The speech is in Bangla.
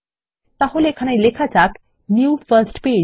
তাহলে এখানে লেখা যাক নিউ ফার্স্ট পেজ